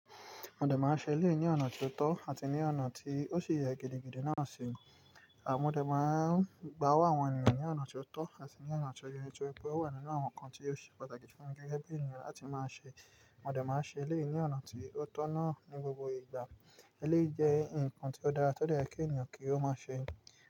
Mo dé máa ń ṣe eléyìí ní ọ̀nà tí ó tọ́ àti ní ọ̀nà tí ó ṣe ìyẹ́ gidigidi náà sì ń. Mo dé máa ń gbáwó àwọn ènìyàn ní ọ̀nà tí ó tọ́ àti ní ọ̀nà tó yẹ, torí pé ó wà nínú àwọn nǹkan tí ó ṣe pàtàkì fún igi ẹgbẹ́ ènìyàn láti máa ṣe. Ọmọdé máa ń ṣe eléyìí ní ọ̀nà tí ó tọ̀nà ní gbogbo ìgbà. Eléyìí jẹ́ nǹkan tí ó dára tó dẹ́rẹ̀ kí ènìyàn kí ó máa ṣe.